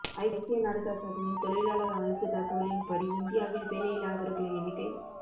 ஐக்கிய நாடுகள் சபையின் தொழிலாளர் அமைப்பு தகவலின் படி இந்தியாவில் வேலையில்லாதவர்களின் எண்ணிக்கை